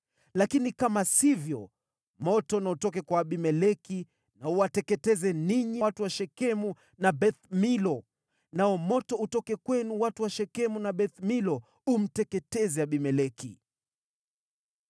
Lakini kama sivyo, moto na utoke kwa Abimeleki na uwateketeze, ninyi watu wa Shekemu na Beth-Milo, nao moto utoke kwenu, watu wa Shekemu na Beth-Milo umteketeze Abimeleki!”